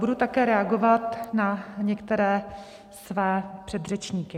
Budu také reagovat na některé své předřečníky.